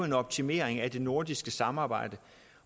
en optimering af det nordiske samarbejde